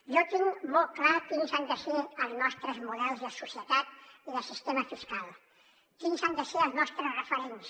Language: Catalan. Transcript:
jo tinc molt clars quins han de ser els nostres models de societat i de sistema fiscal quins han de ser els nostres referents